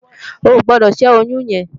Óogbòdò ṣè óyùn yèn